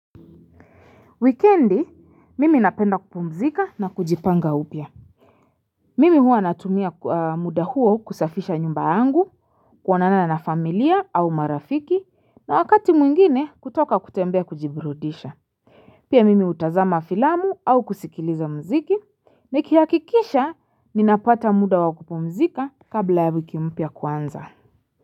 Wikendi mimi napenda kupumzika na kujipanga upya. Mimi huwa natumia muda huo kusafisha nyumba yangu kuonana na familia au marafiki na wakati mwingine kutoka kutembea kujiburudisha. Pia mimi utazama filamu au kusikiliza mziki nikihakikisha ninapata muda wa kupumzika kabla ya wiki mpya kuanza.